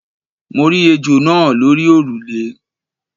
Mo rí ejò náa lórí òrùlé